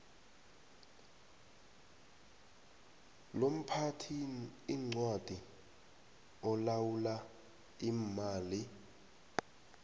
lomphathiincwadi olawula iimali